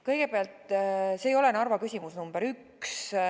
Kõigepealt, see ei ole Narva küsimus number üks.